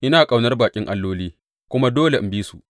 Ina ƙaunar baƙin alloli kuma dole in bi su.’